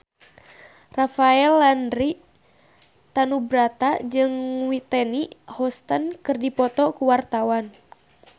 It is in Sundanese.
Rafael Landry Tanubrata jeung Whitney Houston keur dipoto ku wartawan